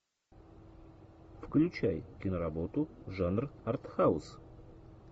включай киноработу жанр артхаус